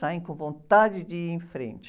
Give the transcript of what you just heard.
Saem com vontade de ir em frente.